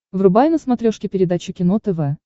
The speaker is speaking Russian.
врубай на смотрешке передачу кино тв